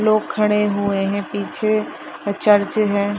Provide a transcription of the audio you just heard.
लोग खड़े हुए हैं पीछे अ चर्च है।